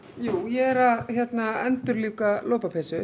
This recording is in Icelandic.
ég er að endurlífga lopapeysu